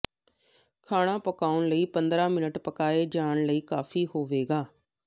ਖਾਣਾ ਪਕਾਉਣ ਲਈ ਪੰਦਰਾਂ ਮਿੰਟ ਪਕਾਏ ਜਾਣ ਲਈ ਕਾਫ਼ੀ ਹੋਵੇਗਾ